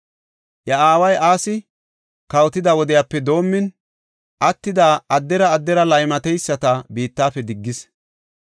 Iya aaway Asi kawotida wodiyape doomin, attida addera addera laymateyisata biittafe diggis.